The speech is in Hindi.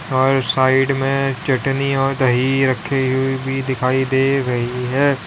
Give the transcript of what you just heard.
और साइड में चटनी और दही रखी हुई भी दिखाई दे रही है।